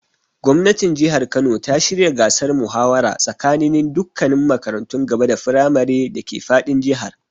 Gwamnatin Jihar Kano ta shirya gasar muhawara tsakaninin dukkannin makarantun gaba da firamare dake fadin Jihar.